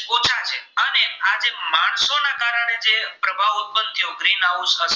દબાવ ઉત્તપન થ્યો ગ્રીનહાઉસ અસર